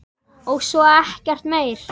Og svo ekkert meir.